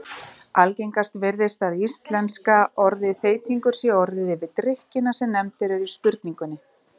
Algengast virðist að íslenska orðið þeytingur sé notað yfir drykkina sem nefndir eru í spurningunni.